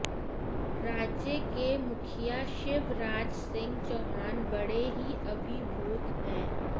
राज्य के मुखिया शिवराज सिंह चौहान बड़े ही अभिभूत हैं